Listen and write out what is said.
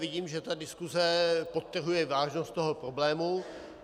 Vidím, že ta diskuse podtrhuje vážnost toho problému.